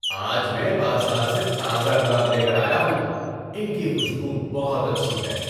آج میں بازار سے تازہ گلاب لے کر آیا ہوں۔ ان کی خوشبو بہت اچھی ہے۔